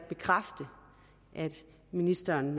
bekræfte at ministeren